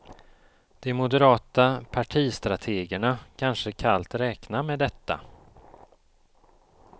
De moderata partistrategerna kanske kallt räknar med detta.